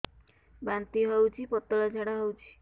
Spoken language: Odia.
ବାନ୍ତି ହଉଚି ପତଳା ଝାଡା ହଉଚି